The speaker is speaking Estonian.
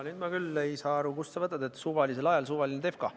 Nüüd ma küll ei saa aru, kust sa võtad, et suvalisel ajal suvaline defka.